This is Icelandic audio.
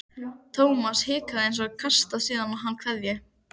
Thomas hikaði en kastaði síðan á hann kveðju.